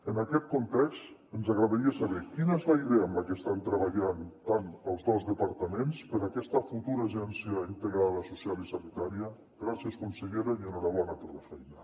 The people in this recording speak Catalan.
en aquest context ens agradaria saber quina és la idea en la que estan treballant tant els dos departaments per a aquesta futura agència integrada social i sanitària gràcies consellera i enhorabona per la feina